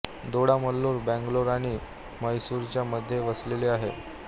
दोडा मल्लूर बंगलोर आणि म्हैसूरच्या मध्ये वसलेले आहे